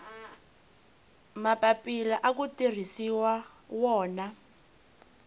mapapila aku tirhisiwa wona